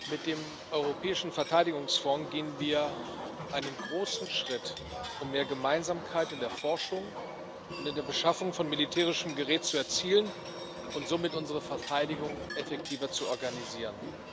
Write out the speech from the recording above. Mit dem Europäischen Verteidigungsfonds gehen wir einen großen Schritt, um mehr Gemeinsamkeit in der Forschung und in der Beschaffung von militärischem Gerät zu erzielen und somit unsere Verteidigung effektiver zu organisieren.